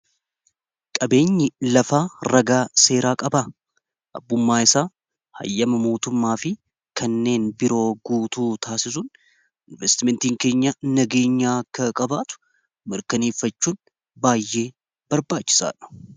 qabeenyi lafaa ragaa seeraa qabaa abbummaa isaa hayyama mootummaa fi kanneen biroo guutuu taasisuun investimentiin keenya nageenyaa ka qabaatu mirkaneeffachuun baay'ee barbaachisaadhu